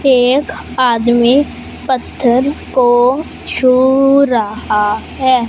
एक आदमी पत्थर को छू रहा हैं।